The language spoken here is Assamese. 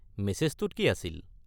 মেছেজটোত কি আছিল?